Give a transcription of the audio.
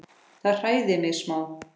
Það hræðir mig smá.